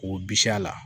K'o bisi a la